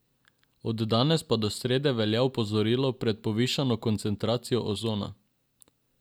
Od danes pa do srede velja opozorilo pred povišano koncentracijo ozona.